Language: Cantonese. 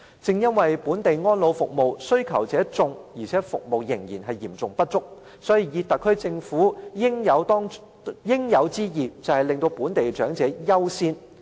正因為本地安老服務需求者眾，但服務嚴重不足，所以特區政府的應有之義，就是讓本地長者優先享受服務。